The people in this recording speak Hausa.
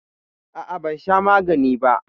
A'a, ban sha magani ba.